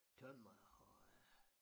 Tømrer og øh